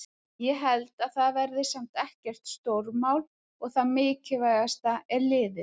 Ég held að það verði samt ekkert stórmál og það mikilvægasta er liðið.